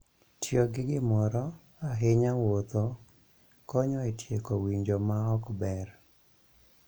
Tiyo gi gimoro, ahinya wuotho, konyo e tieko winjo ma ok ber.